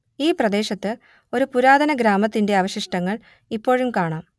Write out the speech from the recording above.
ഈ പ്രദേശത്ത് ഒരു പുരാതന ഗ്രാമത്തിന്റെ അവശിഷ്ടങ്ങൾ ഇപ്പോഴും കാണാം